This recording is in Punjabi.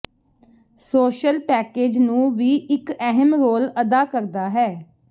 ਸੋਸ਼ਲ ਪੈਕੇਜ ਨੂੰ ਵੀ ਇੱਕ ਅਹਿਮ ਰੋਲ ਅਦਾ ਕਰਦਾ ਹੈ